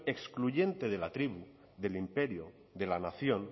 excluyente de la tribu del imperio de la nación